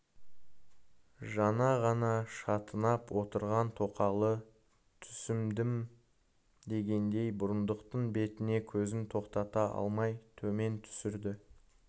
жаңа ғана шатынап отырған тоқалы түсіндімдегендей бұрындықтың бетіне көзін тоқтата алмай төмен түсірді